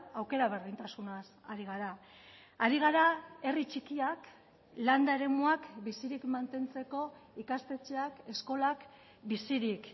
aukera berdintasunaz ari gara ari gara herri txikiak landa eremuak bizirik mantentzeko ikastetxeak eskolak bizirik